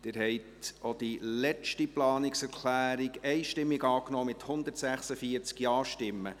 Sie haben auch die letzte Planungserklärung einstimmig angenommen, mit 146 Ja-Stimmen.